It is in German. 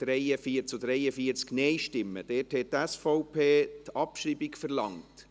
Dort hat die SVP die Abschreibung verlangt.